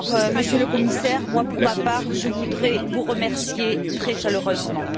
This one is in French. Monsieur le Commissaire, pour ma part, je voudrais vous remercier très chaleureusement.